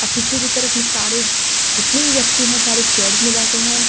और पीछे की तरफ में सारे जितने भी व्यक्ति हैं सारे चेयर्स में बैठे है।